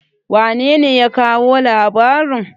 wanene ya kawo labarin?